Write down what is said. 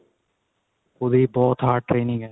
ਉਹਦੀ ਬਹੁਤ hard training ਏ